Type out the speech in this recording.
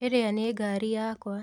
ĩrĩa nĩ ngari yakwa.